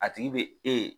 A tigi bɛ e